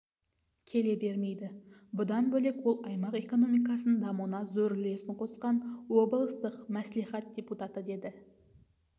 келе бермейді бұдан бөлек ол аймақ экономикасының дамуына зор үлесін қосқан облыстық мәслихат депутаты деді